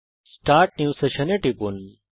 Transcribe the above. start new session এ টিপুন